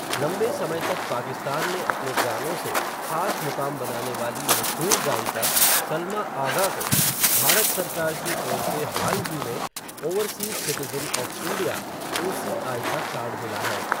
लंबे समय तक पाकिस्तान में अपने गानों से, ख़ास मुक़ाम बनाने वाली मशहूर गायिका सलमा आग़ा को, भारत सरकार की ओर से हाल ही में, overseas citizen of India, OCI का कार्ड मिला है.